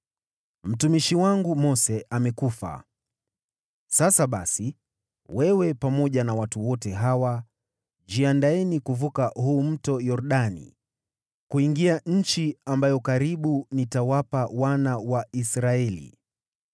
“Mtumishi wangu Mose amekufa. Sasa basi, wewe pamoja na watu wote hawa, jiandaeni kuvuka huu Mto Yordani kuingia nchi ambayo karibu nitawapa wana wa Israeli.